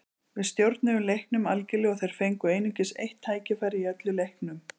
Við stjórnuðum leiknum algerlega og þeir fengu einungis eitt tækifæri í öllum leiknum.